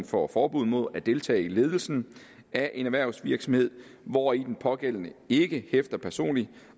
får forbud mod at deltage i ledelsen af en erhvervsvirksomhed hvori den pågældende ikke hæfter personligt